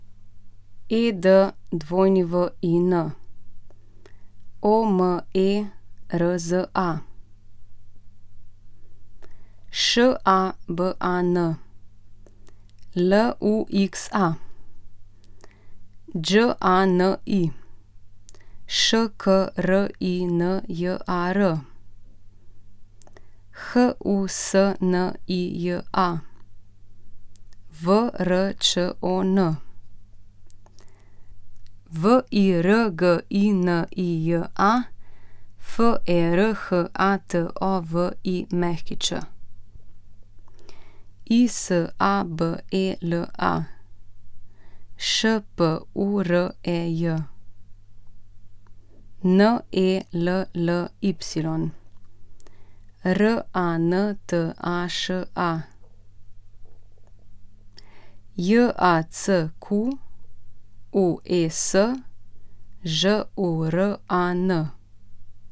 Edwin Omerza, Šaban Luxa, Đani Škrinjar, Husnija Vrčon, Virginija Ferhatović, Isabela Špurej, Nelly Rantaša, Jacques Žuran.